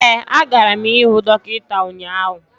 ee agara m ihụ dọkịta ụnyaahụ